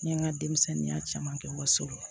N ye n ka denmisɛnninya caman kɛ waso la